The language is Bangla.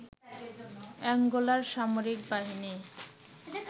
অ্যাঙ্গোলার সামরিক বাহিনী